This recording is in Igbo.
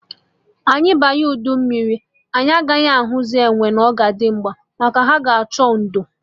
Anyị banye udu mmiri, anyị agaghị ahụzị enwe na Ọzọdimgba, maka ha ga-achọ ndo